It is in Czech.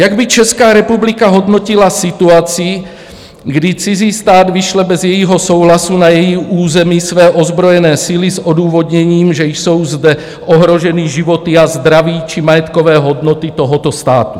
Jak by Česká republika hodnotila situaci, kdy cizí stát vyšle bez jejího souhlasu na její území své ozbrojené síly s odůvodněním, že jsou zde ohroženy životy a zdraví či majetkové hodnoty tohoto státu?